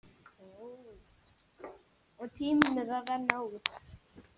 Og tíminn að renna út.